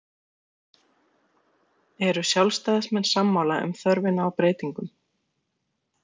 Eru sjálfstæðismenn sammála um þörfina á breytingum?